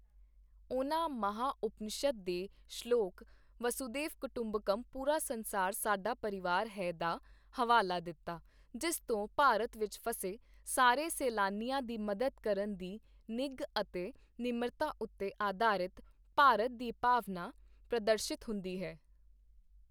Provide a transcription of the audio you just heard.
ਉਨ੍ਹਾਂ ਮਹਾਂ ਉਪਨਿਸ਼ਦ ਦੇ ਸ਼ਲੋਕ ਵਸੂਧੈਵ ਕੁਟੁੰਬਕਮ ਪੂਰਾ ਸੰਸਾਰ ਸਾਡਾ ਪਰਿਵਾਰ ਹੈ ਦਾ ਹਵਾਲਾ ਦਿੱਤਾ, ਜਿਸ ਤੋਂ ਭਾਰਤ ਵਿਚ ਫਸੇ ਸਾਰੇ ਸੈਲਾਨੀਆਂ ਦੀ ਮਦਦ ਕਰਨ ਦੀ ਨਿੱਘ ਅਤੇ ਨਿਮਰਤਾ ਉੱਤੇ ਅਧਾਰਿਤ ਭਾਰਤ ਦੀ ਭਾਵਨਾ ਪ੍ਰਦਰਸ਼ਿਤ ਹੁੰਦੀ ਹੈ।